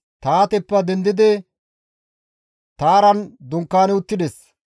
Tahaateppe dendidi Taaran dunkaani uttides.